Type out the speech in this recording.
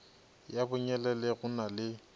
ya bonyelele go na le